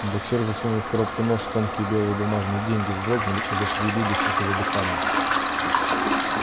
боксёр засунул в коробку нос тонкие белые бумажные деньги вздрогнули и зашевелились от его дыхания